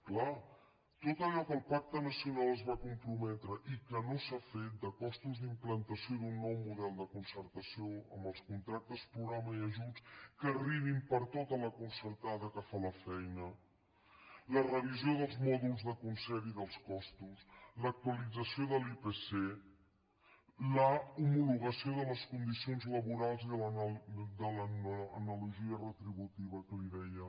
clar tot allò que el pacte nacional s’hi va comprometre i que no s’ha fet de costos d’implantació d’un nou model de concertació amb els contractes programa i ajuts que arribin per a tota la concertada que fa la feina la revisió dels mòduls de concert i els costos l’actualització de l’ipc l’homologació de les condicions laborals i de l’analogia retributiva que li deia